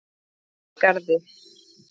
Merkigarði